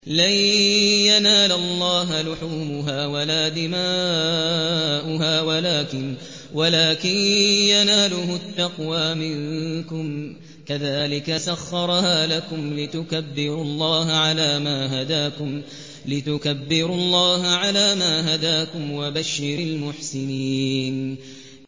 لَن يَنَالَ اللَّهَ لُحُومُهَا وَلَا دِمَاؤُهَا وَلَٰكِن يَنَالُهُ التَّقْوَىٰ مِنكُمْ ۚ كَذَٰلِكَ سَخَّرَهَا لَكُمْ لِتُكَبِّرُوا اللَّهَ عَلَىٰ مَا هَدَاكُمْ ۗ وَبَشِّرِ الْمُحْسِنِينَ